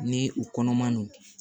Ni u kɔnɔ man nɔgɔn